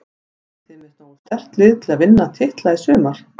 Eruð þið með nógu sterkt lið til að vinna titla í sumar?